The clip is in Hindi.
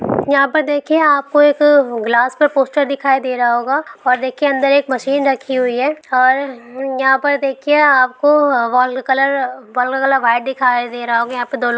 यहाँ पर देखिए आपको एक ग्लास पे पोस्टर दिखाई दे रहा होगा और अंदर एक मशीन रखी हुई है और यहाँ पर देखिए आपको वाल का कलर वाल का कलर व्हाइट दिखाई दे रहा होगा।